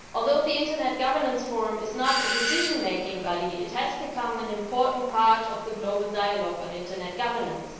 Although the Internet Governance Forum is not a decision making body, it has become an important part of the global dialogue on internet governance.